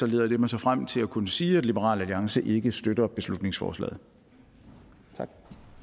leder det mig frem til at kunne sige at liberal alliance ikke støtter beslutningsforslaget tak